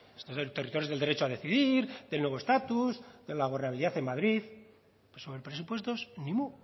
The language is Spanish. territorios del derecho a decidir del nuevo estatus de la gobernabilidad en madrid pero sobre presupuestos